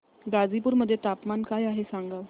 गाझीपुर मध्ये तापमान काय आहे सांगा